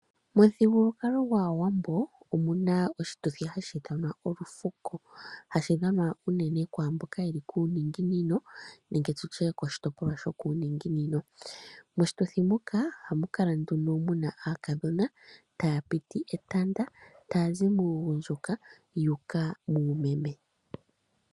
Momuthigulwakalo gwAawambo omu na oshituthi hashi ithanwa olufuko, hashi dhwanwa unene kwaa mboka ye li koshitopolwa shokuuninginino. Moshituthi muka ohamu kala aakadhona taa piti etanda taya zi muugundjuka yu uka muumeme.